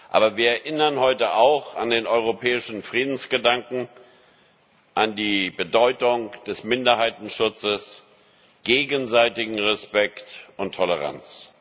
Aber wir erinnern heute auch an den europäischen Friedensgedanken, an die Bedeutung des Minderheitenschutzes, gegenseitigen Respekt und Toleranz.